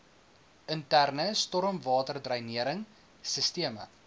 interne stormwaterdreinering sisteme